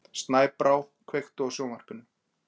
Snæbrá, kveiktu á sjónvarpinu.